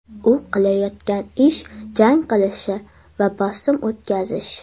U qilayotgan ish jang qilishi va bosim o‘tkazish.